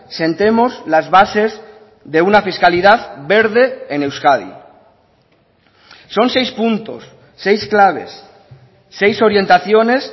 sentemos las bases de una fiscalidad verde en euskadi son seis puntos seis claves seis orientaciones